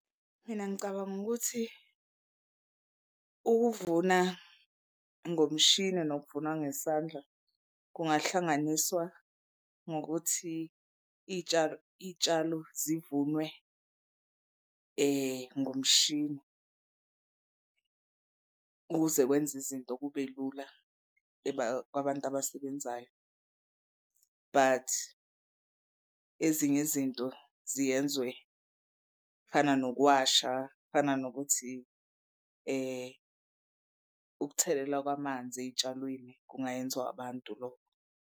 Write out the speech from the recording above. Mina ngicabanga ukuthi ukuvuna ngomshini nokuvuna ngesandla kungahlanganiswa ngokuthi iy'tshalo iy'tshalo zivunwe ngomshini ukuze kwenza izinto kube lula kwabantu abasebenzayo. But ezinye izinto ziyenzwe kufana nokuwasha kufana nokuthi ukuthelela kwamanzi ey'tshalweni kungayenzwa abantu lokho.